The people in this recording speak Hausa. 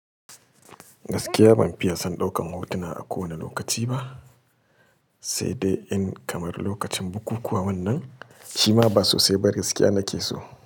Gaskiya ban fiya son ɗaukan hotuna a kowane lokaci ba, sai dai in kamar lokacin bukuku wannan, shima ba sosai ba gaskiya nake so.